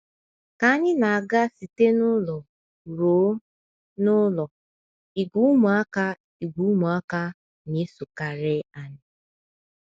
Ka anyị na - aga site n’ụlọ ruo n’ụlọ, ìgwè ụmụaka, ìgwè ụmụaka na - esokarị anyị.